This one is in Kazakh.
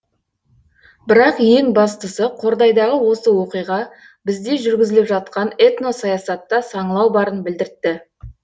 бірақ ең бастысы қордайдағы осы оқиға бізде жүргізіліп жатқан этносаясатта саңылау барын білдіртті